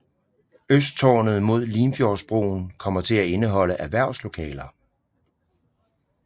Østtårnet mod Limfjordsbroen kommer til at indeholde erhverslokaler